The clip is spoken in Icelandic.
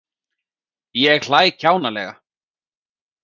Ég hlæ kjánalega.